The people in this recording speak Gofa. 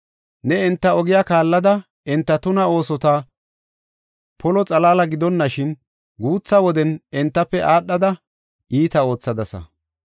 Ne enta ogiya kaallada enta tuna oosota polo xalaala gidonashin, guutha woden entafe aadhada iita oothadasa.